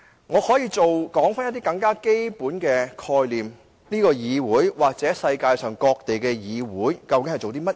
我可以指出一些更基本的概念，說明這個議會或世界各地的議會究竟在做甚麼。